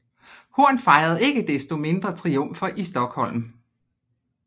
Horn fejrede ikke desto mindre triumfer i Stokholm